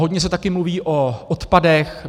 Hodně se také mluví o odpadech.